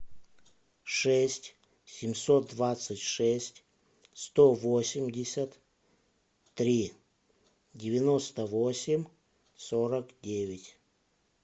шесть семьсот двадцать шесть сто восемьдесят три девяносто восемь сорок девять